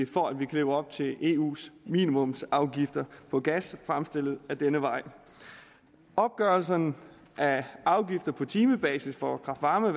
for at vi kan leve op til eus minimumsafgifter på gas fremstillet ad denne vej opgørelsen af afgifter på timebasis for kraft varme